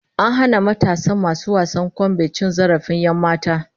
An hana matasan masu wasan kwambe cin zarafin 'yanmata